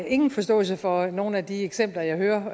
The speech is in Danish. ingen forståelse for nogen af de eksempler jeg hører om